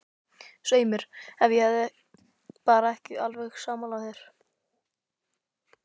Svei mér, ef ég er bara ekki alveg sammála þér.